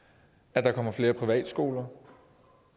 at der kommer flere privatskoler